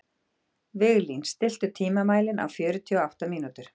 Viglín, stilltu tímamælinn á fjörutíu og átta mínútur.